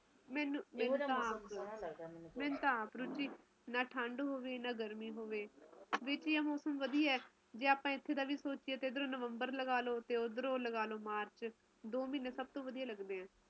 ਮੈਨੂੰ ਤਾ ਆਪ ਰੁਚੀ ਨਾ ਠੰਡ ਹੋਵੇ ਨਾ ਗਰਮੀ ਹੋਵੇ ਵਿਚ ਜਾ ਮੌਸਮ ਵਧੀਆ ਜੇ ਆਪਾ ਇਧਰੋਂ ਵੀ ਸੋਚੀਏ ਤਾ ਇਧਰੋਂ ਲਗਾਲੋ ਨਵੰਬਰ ਓਧਰੋਂ ਮਾਰਚ ਦੋ ਮਹੀਨੇ ਸਭ ਤੋਂ ਵਧੀਆ ਲੱਗਦੇ ਆ